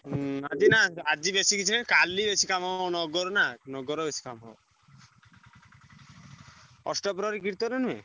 ହୁଁ ଆଜି ନା ଆଜି ବେଶି କିଛି ନାଇଁ କାଲି ବେଶି କାମନଗର ନା ନଗର ବେଶି କାମ। ଅଷ୍ଟପ୍ରହରୀ କୀର୍ତନ ନୁହେଁ।